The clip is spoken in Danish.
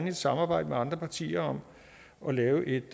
et samarbejde med andre partier om at lave et